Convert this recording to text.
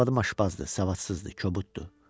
Arvadım aşpazdır, savadsızdır, kobuddur.